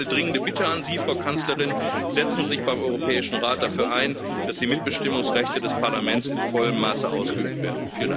Deswegen ist meine dringende Bitte an Sie, Frau Kanzlerin Setzten Sie sich beim Europäischen Rat dafür ein, dass die Mitbestimmungsrechte des Parlaments in vollem Maße ausgeübt werden.